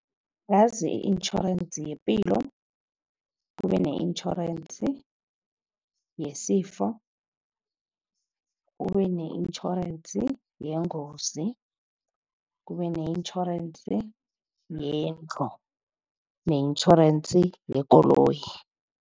Ngazi i-intjhorensi yepilo, kube ne-intjhorensi yesifo, kube ne-intjhorensi yengozi, kube ne-intjhorensi yendlu ne-intjhorensi yekoloyi.